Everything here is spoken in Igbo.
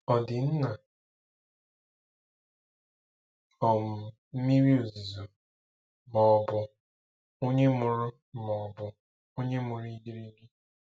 Ọ̀ di nna um miri-ozuzo, ma-ọbu onye muru ma-ọbu onye muru igirigi?